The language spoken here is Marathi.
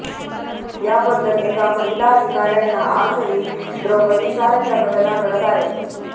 याबद्दल एका महिला अधिकाऱ्यांना आजही द्रौपदीसारख्या घटना घडत आहेत